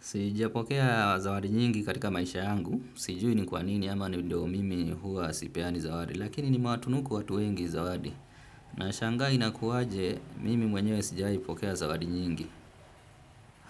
Sijapokea zawadi nyingi katika maisha yangu. Sijui ni kwa nini ama ni ndio mimi huwa sipeani zawadi. Lakini nimewatunuku watu wengi zawadi. Nashanga inakuwaje mimi mwenyewe sijiai pokea zawadi nyingi.